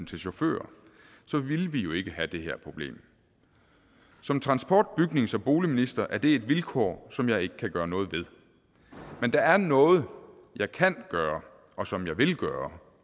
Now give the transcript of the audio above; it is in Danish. til chauffører så ville vi jo ikke have det her problem som transport bygnings og boligminister er det et vilkår som jeg ikke kan gøre noget ved men der er noget jeg kan gøre og som jeg vil gøre